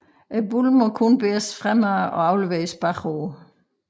Bolden må kun bæres fremad og afleveres bagud